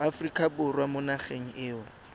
aforika borwa mo nageng eo